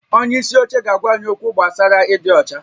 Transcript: Onye isi oche ga-agwa anyị okwu gbasara ịdị ọcha